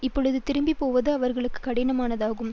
இப்பொழுது திரும்பி போவது அவர்களுக்கு கடினமானதாகும்